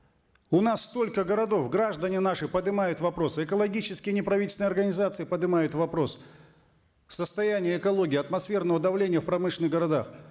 у нас столько городов граждане наши подымают вопросы экологические неправительственные организации подымают вопрос состояние экологии атмосферного давления в промышленных городах